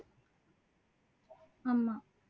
ஆமா